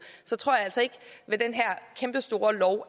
tror jeg altså ikke